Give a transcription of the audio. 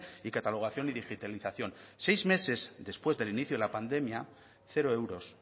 y catalogación y digitalización seis meses después del inicio de la pandemia cero euros